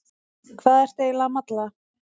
Hvað ertu eiginlega að malla?